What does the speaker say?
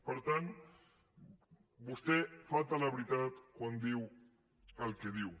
per tant vostè falta a la veritat quan diu el que diu